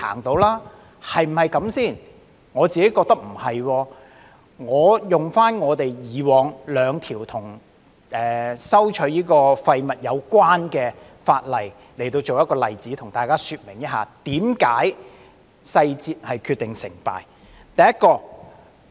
我認為不是的，讓我引用以往兩項與廢物徵費有關的法例作為例子，向大家說明為甚麼細節會決定成敗。